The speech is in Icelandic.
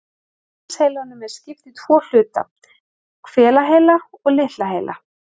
Mannsheilanum er skipt í tvo hluta, hvelaheila og litla heila.